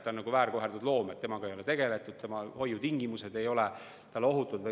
Ta on väärkoheldud loom, temaga ei ole tegeldud, tema hoiutingimused ei ole talle ohutud.